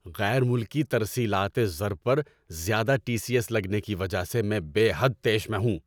غیر ملکی ترسیلاتِ زر پر زیادہ ٹی سی ایس لگنے کی وجہ سے میں بے حد طیش میں ہوں۔